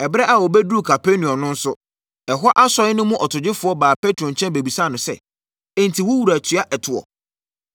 Ɛberɛ a wɔbɛduruu Kapernaum no nso, ɛhɔ asɔre no mu ɔtogyefoɔ baa Petro nkyɛn bɛbisaa no sɛ, “Enti, wo wura tua ɛtoɔ?”